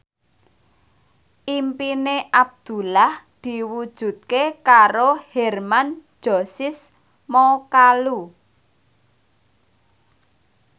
impine Abdullah diwujudke karo Hermann Josis Mokalu